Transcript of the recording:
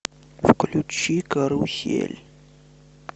включи карусель